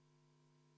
Martin Helme, palun!